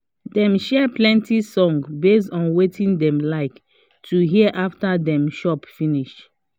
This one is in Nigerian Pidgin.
dem share plenty songs base on wetin dem like to hear after them chop finish